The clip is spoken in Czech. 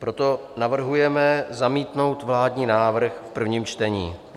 Proto navrhujeme zamítnout vládní návrh v prvním čtení.